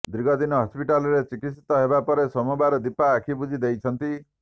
ଦୀର୍ଘଦିନ ହସ୍ପିଟାଲରେ ଚିକିତ୍ସିତ ହେବା ପରେ ସୋମବାର ଦୀପା ଆଖି ବୁଜି ଦେଇଛନ୍ତି